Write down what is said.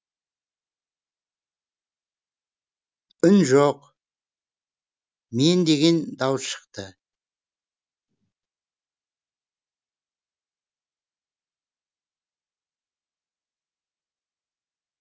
үн жоқ мен деген дауыс шықты